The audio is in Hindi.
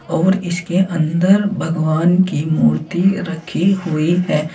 और इसके अंदर भगवान की मूर्ति रखी हुई है।